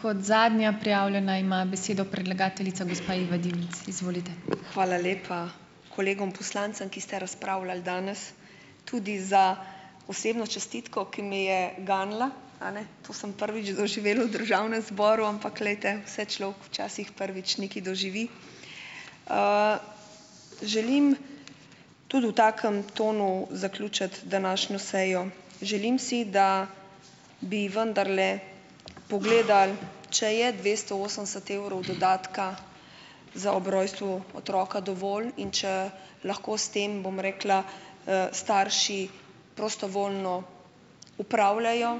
Hvala lepa kolegom poslancem, ki ste razpravljali danes, tudi za osebno čestitko, ki me je ganila. A ne. To sem prvič doživela v državnem zboru, ampak glejte, vse človek včasih prvič nekaj doživi. Želim tudi v takem tonu zaključiti današnjo sejo. Želim si, da bi vendarle pogledali, če je dvesto osemdeset evrov dodatka za ob rojstvu otroka dovolj in če lahko s tem, bom rekla, starši prostovoljno upravljajo.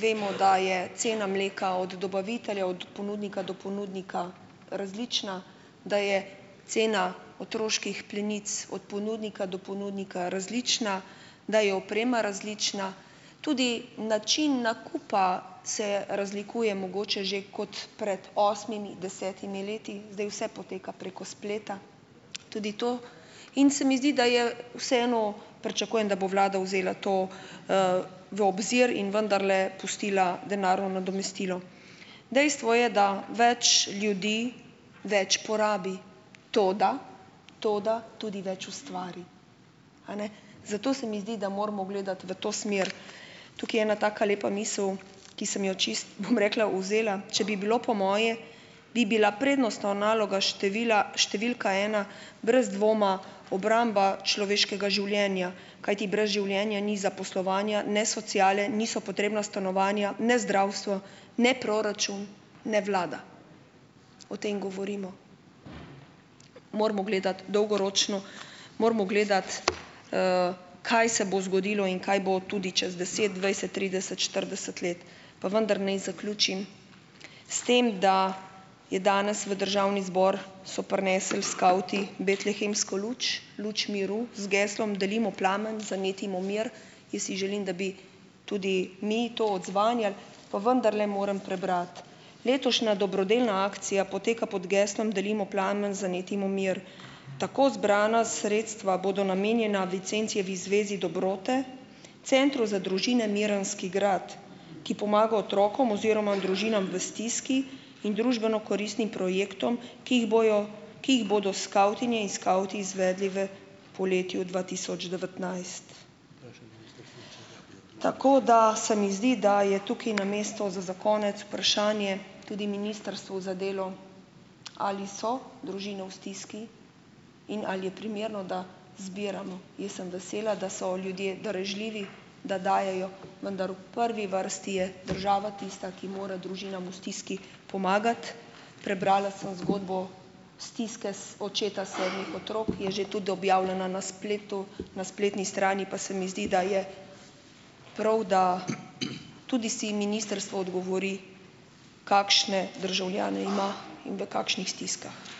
Vemo, da je cena mleka od dobavitelja od ponudnika do ponudnika različna, da je cena otroških plenic od ponudnika do ponudnika različna, da je oprema različna, tudi način nakupa se razlikuje mogoče že kot pred osmimi, desetimi leti, zdaj vse poteka preko spleta, tudi to. In se mi zdi, da je vseeno pričakujem, da bo vlada vzela to v obzir in vendarle pustila denarno nadomestilo. Dejstvo je, da več ljudi več porabi, toda toda tudi več ustvari. Zato se mi zdi, da moramo gledati v to smer. Tukaj je ena taka lepa misel, ki sem jo čisto, bom rekla, vzela. Če bi bilo po moje, bi bila prednostna naloga števila številka ena brez dvoma obramba človeškega življenja, kajti brez življenja ni zaposlovanja, ne sociale, niso potrebna stanovanja, ne zdravstvo, ne proračun, ne vlada. O tem govorimo. Moramo gledati dolgoročno, moramo gledati, kaj se bo zgodilo in kaj bo tudi čez deset, dvajset, trideset, štirideset let. Pa vendar naj zaključim s tem, da je danes v državni zbor, so prinesli skavti betlehemsko luč, luč miru, z geslom Delimo plamen, zanetimo mir. Jaz si želim, da bi tudi mi to odzvanjali, pa vendarle moram prebrati. Letošnja dobrodelna akcija poteka pod geslom: Delimo plamen, zanetimo mir. Tako zbrana sredstva bodo namenjena Vincencijevi zvezi dobrote, Centru za družine Mirenski grad, ki pomaga otrokom oziroma družinam v stiski in družbeno koristnim projektom, ki jih bojo, ki jih bodo skavtinje in skavti izvedli v poletju dva tisoč devetnajst. Tako da se mi zdi, da je tukaj na mesto za za konec vprašanje tudi Ministrstvu za delo: Ali so družine v stiski in ali je primerno, da zbiramo? Jaz sem vesela, da so ljudje darežljivi, da dajejo, vendar v prvi vrsti je država tista, ki mora družinam v stiski pomagati. Prebrala sem zgodbo stiske s očeta sedmih otrok. Je že tudi objavljena na spletu na spletni strani, pa se mi zdi, da je prav, da tudi si ministrstvo odgovori, kakšne državljane ima in v kakšnih stiskah.